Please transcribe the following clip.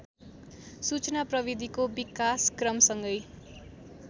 सूचना प्रविधिको विकासक्रमसँगै